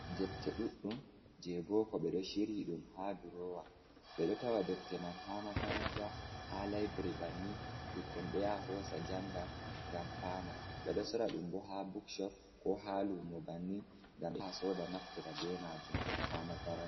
Defte ɗuɗɗum je boko ɓeɗo shiryi ɗum ha durowa, ɓeɗo tawa defte man ha makaranta ha library bannin ɓukkoi ɗoyaha hosa ɗum janga ngam fama, ɓeɗo soraɗum boh ha bukshop koha lumo ngam soda naftira be majum.